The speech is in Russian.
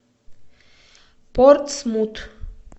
портсмут